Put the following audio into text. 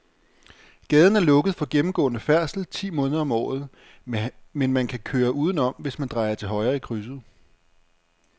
Gaden er lukket for gennemgående færdsel ti måneder om året, men man kan køre udenom, hvis man drejer til højre i krydset.